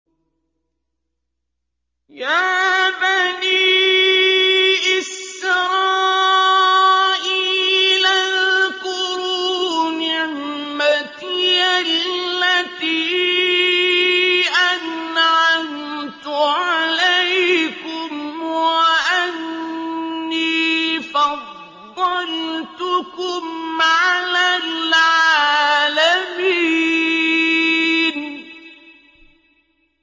يَا بَنِي إِسْرَائِيلَ اذْكُرُوا نِعْمَتِيَ الَّتِي أَنْعَمْتُ عَلَيْكُمْ وَأَنِّي فَضَّلْتُكُمْ عَلَى الْعَالَمِينَ